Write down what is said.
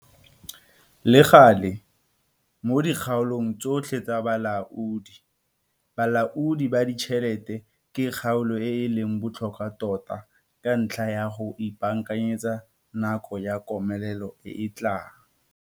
Le gale, mo dikgaolong tsotlhe tsa bolaodi, bolaodi ba ditšhelete ke kgaolo e e leng botlhokwa tota ka ntlha ya go ipaakanyetsa nako ya komelelo e e tlang.